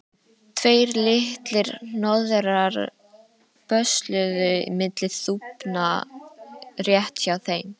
Tveir litlir hnoðrar bösluðu milli þúfna rétt hjá þeim.